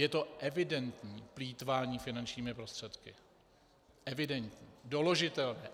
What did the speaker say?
Je to evidentní plýtvání finančními prostředky, evidentní, doložitelné.